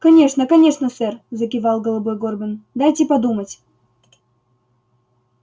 конечно конечно сэр закивал головой горбин дайте подумать